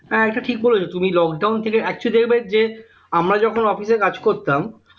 হ্যাঁ এটা ঠিক বলেছো তুমি lockdown থেকে actually দেখবে যে আমরা যখন office এ কাজ করতাম